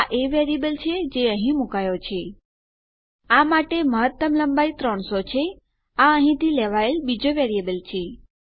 આ એ વેરીએબલ છે જે અહીં મુકાયો છે આ માટેની મહત્તમ લંબાઈ 300 છે આ અહીંથી લેવાયેલ બીજો વેરીએબલ છે